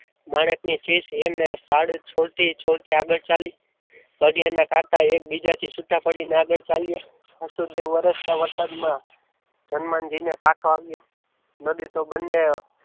માણેક ની ચીઝ એમ નેમ પાડી છોડતી છોડતી આગળ ચાલી પગે ને કાંટા એકબીજાથી છૂટા પડીને આગળ ચાલ્યા વાસુદેવ વરસતા વરસાદમાં હનુમાનજીને કાટ આવ્યા નદી તો બંને